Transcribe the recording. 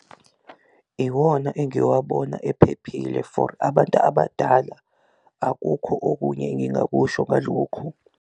Iwona engiwabona ephephile for abantu abadala akukho okunye engingakusho ngalokhu.